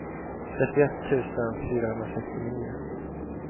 trettioett tusen fyrahundrasextionio